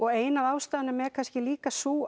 ein af ástæðunum er kannski líka sú